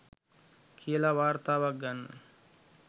කියලා වාර්තාවක් ගන්න